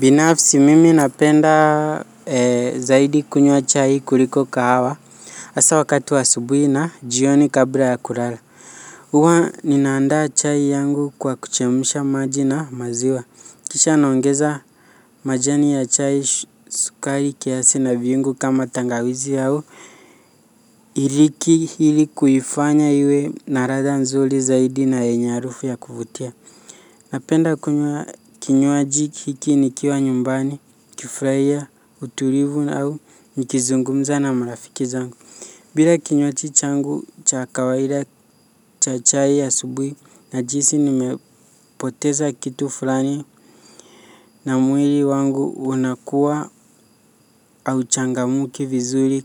Binafsi mimi napenda zaidi kunywa chai kuliko kahawa hasa wakati wa asubuhi na jioni kabla ya kulala. Huwa ninaandaa chai yangu kwa kuchemsha maji na maziwa. Kisha naongeza majani ya chai, sukari kiasi na viungo kama tangawizi au iliki ili kuifanya iwe na ladha nzuri zaidi na yenye harufu ya kuvutia. Napenda kunywa kinywaji hiki nikiwa nyumbani, nikifurahia, utulivu au nikizungumza na marafiki zangu. Bila kinywaji changu cha kawaida cha chai ya asubuhi najihisi nimepoteza kitu fulani. Na mwili wangu unakua hauchangamki vizuri